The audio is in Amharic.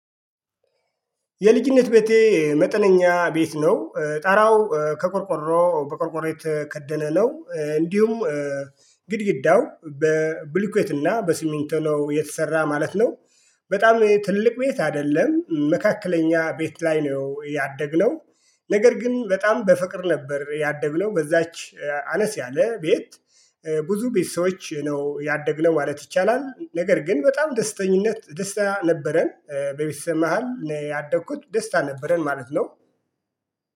የልጅነት ቤቴ መጠነኛ ቤት ነው። ጣራው ከቆርቆሮ በቆርቆሮ የተከደለ ነው። እንዲሁም ግድግዳው በብልኩዌት እና በሲሚንቶ ነው። የተሰራ ማለት ነው። በጣም ትልቅ ቤት አይደለም። መካከለኛ ቤት ላይ ነው ያደግነው። ነገር ግን በጣም በፍቅር ነበር ያደግነው በዛች አነስ ያለ ቤት። ብዙ ቤተሰዎች ነው ያደግነው ማለት ይቻላል። ነገር ግን በጣም ደስተኛነት ደስታ ነበረን በቤተሰብ መሃል ያደኩት ደስታ ነበረን ማለት ነው።